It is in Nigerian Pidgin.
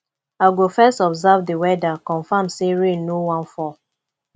i go first observe dis weather confirm sey rain no wan fall